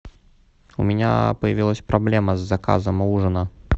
у меня появилась проблема с заказом ужина